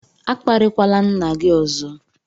A kparịkwala nna gị ọzọ!